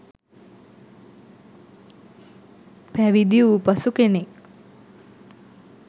පැවිදි වූ පසු කෙනෙක්